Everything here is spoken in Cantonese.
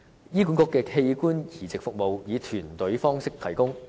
醫管局的器官移植服務以團隊方式提供。